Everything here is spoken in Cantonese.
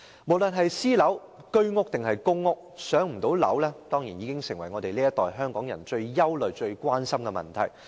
無論是私樓、居屋還是公屋，不能"上樓"已成為這一代香港人最憂慮和關心的問題。